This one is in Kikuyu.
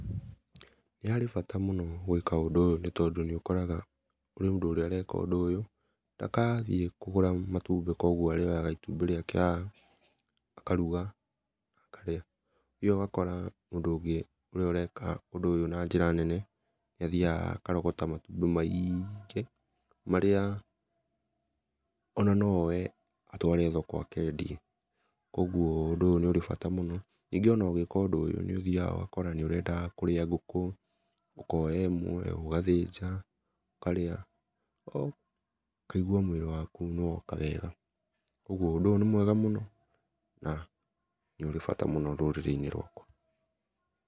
Nĩ harĩ bata mũno gũĩka ũndũ ũyũ nĩ tondũ nĩũkoraga kũrĩ mũndũ ũrĩa areka ũndũ ũyũ, ndagathiĩ kũgũra matũmbi kogũo arĩoyaga itũmbĩ rĩake haha akarũga akarĩa nĩ ũthiaga ũgakora mũndũ ũngĩ ũrĩa areka ũndũ ũyũ na njĩra nene, nĩ athiaga akarogota matũmbi maiingĩ marĩa ona no oe atware thoko akendie, kũogũo ũndũ ũyũ nĩ ũrĩ bata mũno ningĩ ona ũgĩka ũndũ ũyũ nĩũthiaga ũgakora nĩũrenda kũrĩa ngũkũ okaya ĩmwe ũgathĩnja ũkarĩa ũkaĩgũa mwĩlĩ wakũ nĩ woka wega ũgũo ũndũ ũyũ nĩ mwega mũno na nĩ ũrĩ bata mũno rũrĩrĩ-inĩ rwakwa .